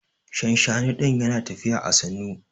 Shanshani din Yana tafiya à sannu.